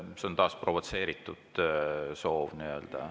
See on taas provotseeritud soov …